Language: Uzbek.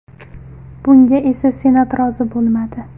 Bunga esa Senat rozi bo‘lmadi.